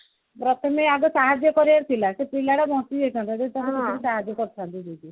ପ୍ରଥମେ ଆଗେ ସାହାଜ୍ଯ କରିବାର ଥିଲା ସେ ପିଲାଟା ବଞ୍ଚି ଯାଇଥାନ୍ତା ଯଦି ତାକୁ ସେତିକି ସାହାଜ୍ଯ କରିଥାନ୍ତି ଯଦି